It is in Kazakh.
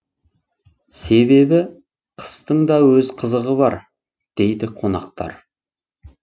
себебі қыстың да өз қызығы бар дейді қонақтар